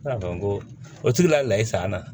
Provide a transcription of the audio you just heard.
o tigila i sa an na